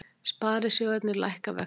Sparisjóðirnir lækka vexti